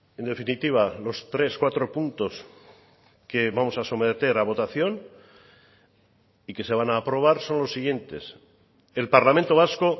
en definitiva los tres cuatro puntos que vamos a someter a votación y que se van a aprobar son los siguientes el parlamento vasco